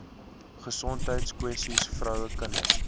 gesondheidskwessies vroue kinders